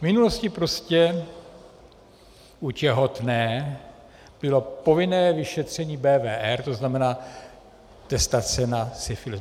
V minulosti prostě u těhotné bylo povinné vyšetření BWR, to znamená testace na syfilis.